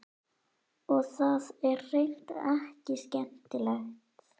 Og það er hreint ekki skemmtilegt.